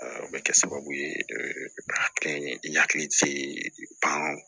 o bɛ kɛ sababu ye ka kɛ i hakili ti ban